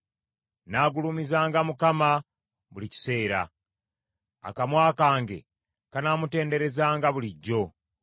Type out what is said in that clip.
Nnaagulumizanga Mukama buli kiseera, akamwa kange kanaamutenderezanga bulijjo.